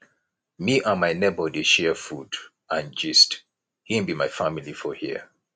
me and my nebor dey share food and gist im be my family for here